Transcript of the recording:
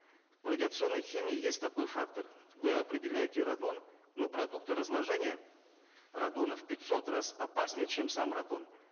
в радиационной химии есть такой фактор вы определяете радон но продукты разложения радона в пятьсот раз опаснее чем сам радон